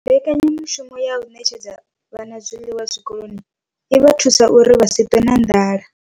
Mbekanya mushumo ya u ṋetshedza vhana zwiḽiwa zwikoloni i vha thusa uri vha si ṱwe na nḓala.